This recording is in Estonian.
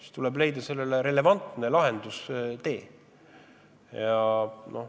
Siis tuleb leida relevantne lahendustee.